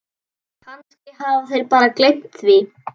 Kannski hafa þeir bara gleymt því.